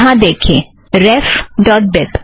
यहाँ देखिए ref dot बीब